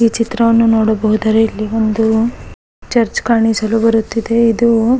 ಈ ಚಿತ್ರವನ್ನು ನೋಡಬಹುದರೆ ಇಲ್ಲಿ ಒಂದು ಚರ್ಚ್ ಕಾಣಿಸಲು ಬರುತ್ತಿದೆ ಇದು --